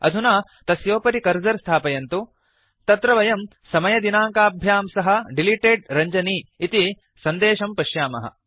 अधुना तस्योपरि कर्सर् नयन्तु अत्र वयं समयदिनाङ्काभ्यां सह डिलिटेड् Ranjani इति सन्देशं पश्यामः